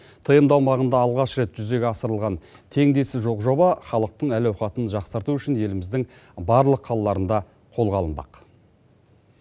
тмд аумағында алғаш рет жүзеге асырылған теңдесі жоқ жоба халықтың әл ауқатын жақсарту үшін еліміздің барлық қалаларында қолға алынбақ